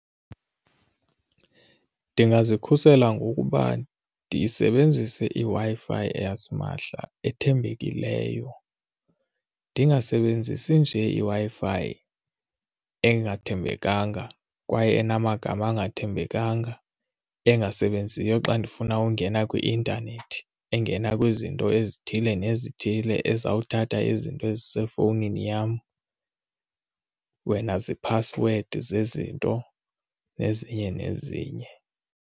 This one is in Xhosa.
Ndingazikhulisela ngokuba ndisebenzise iWi-Fi yasimahla ethembekileyo ndingasebenzisi njee iWi-Fi engathembekanga kwaye enamagama engathembekanga engasebenziyo xa ndifuna ungena kwi-intanethi engena kwizinto ezithile nezithile ezizawuthatha izinto ezisefowunini yam wena ziphasiwedi zezinto nezinye nezinye.